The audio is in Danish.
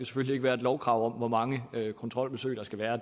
skal være et lovkrav om hvor mange kontrolbesøg der skal være